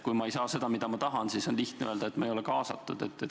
Kui ma ei saa seda, mida ma tahan, siis on lihtne öelda, et ma ei ole kaasatud.